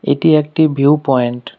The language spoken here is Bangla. এটি একটি ভিউ পয়েন্ট ।